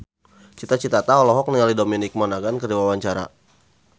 Cita Citata olohok ningali Dominic Monaghan keur diwawancara